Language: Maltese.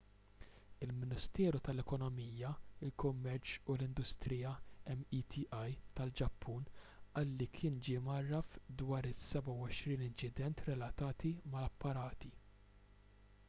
il-ministeru tal-ekonomija il-kummerċ u l-industrija meti tal-ġappun qal li kien ġie mgħarraf dwar is-27 inċident relatati mal-apparati